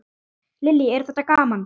Lillý: Er það gaman?